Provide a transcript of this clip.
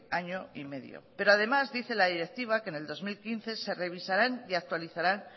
año y medio pero además dice la directiva que en el dos mil quince se revisarán y actualizarán